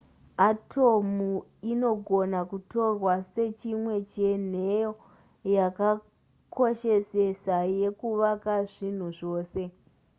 atomu inogona kutorwa sechimwe chenheyo yakakoshesesa yekuvaka zvinhu zvose